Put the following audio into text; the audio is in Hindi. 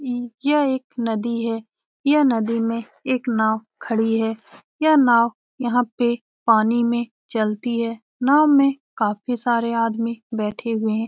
इ यह एक नदी है यह नदी में एक नाव खड़ी हैं यह नाव यहाँ पे पानी में चलती है नाव में काफी सारे आदमी बेठे हुए हैं।